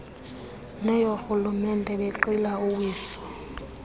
neyoorhulumente benqila uwiso